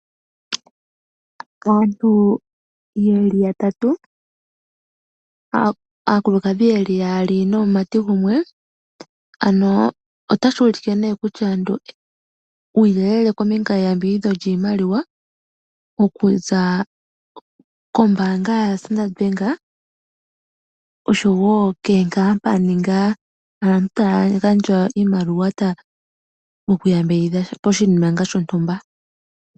Aantu ye li yatatu, aakulukadhi ye li yaali nomumati gumwe, otashi ulike uuyelele kombinga yeyambidhidho lyoshimaliwa okuza kombaanga yaStandard Bank osho wo komahangano okugandja iimaliwa mokuyambidhidha poshinima shonutmba.